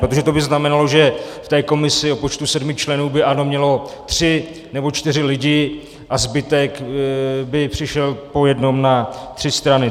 Protože to by znamenalo, že v té komisi o počtu sedmi členů by ANO mělo tři nebo čtyři lidi a zbytek by přišel po jednom na tři strany.